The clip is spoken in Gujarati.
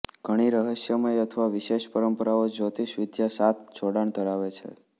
ઘણી રહસ્યમય અથવા વિશેષ પરંપરાઓ જ્યોતિષવિદ્યા સાથ જોડાણ ધરાવે છે